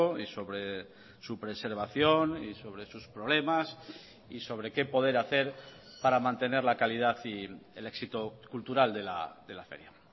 y sobre su preservación y sobre sus problemas y sobre qué poder hacer para mantener la calidad y el éxito cultural de la feria